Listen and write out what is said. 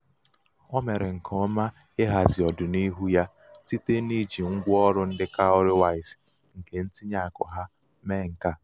o mere nke ọma ịhazi ọdịnihu ya site n'ije ngwa ọrụ ndị cowrywise nke ntinye akụ ha mee nke a.